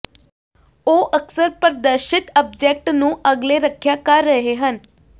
ਉਹ ਅਕਸਰ ਪ੍ਰਦਰਸ਼ਿਤ ਆਬਜੈਕਟ ਨੂੰ ਅਗਲੇ ਰੱਖਿਆ ਕਰ ਰਹੇ ਹਨ